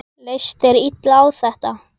Leist þér illa á þetta?